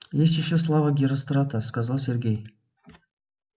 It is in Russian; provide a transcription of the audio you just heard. есть ещё слава герострата сказал сергей